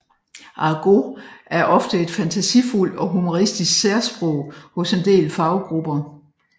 Argot er et ofte fantasifuldt og humoristisk særsprog hos en del faggrupper